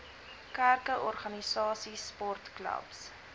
kerke organisasies sportklubs